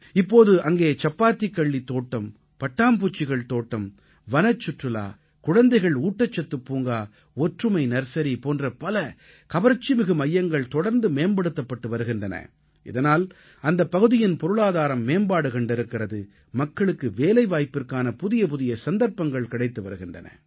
இப்போது அங்கே சப்பாத்திக்கள்ளித் தோட்டம் பட்டாம்பூச்சிகள் தோட்டம் வனச்சுற்றுலா குழந்தைகள் ஊட்டச்சத்துப் பூங்கா ஒற்றுமை நர்சரி போன்ற பல கவர்ச்சிமிகு மையங்கள் தொடர்ந்து மேம்படுத்தப்பட்டு வருகின்றன இதனால் அந்தப் பகுதியின் பொருளாதாரம் மேம்பாடு கண்டிருக்கிறது மக்களுக்கு வேலைவாய்ப்பிற்கான புதியபுதிய சந்தர்ப்பங்கள் கிடைத்து வருகின்றன